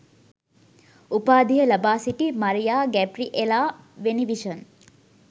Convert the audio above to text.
උපාධිය ලබා සිටි මරියා ගැබ්රිඑලා වෙනිවිෂන්